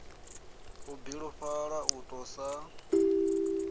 u bilufhala u ḓo sa